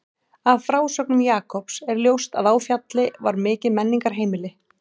Af frásögnum Jakobs er ljóst að á Fjalli var mikið menningarheimili.